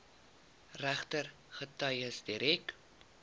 regter getuies direk